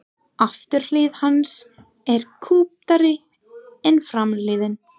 Afturhlið hans er kúptari en framhliðin.